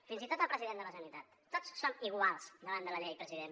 fins i tot el president de la generalitat tots som iguals davant de la llei president